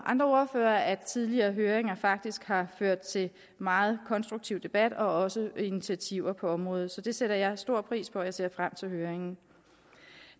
andre ordførere at tidligere høringer faktisk har ført til megen konstruktiv debat og også initiativer på området det sætter jeg stor pris på og jeg ser frem til høringen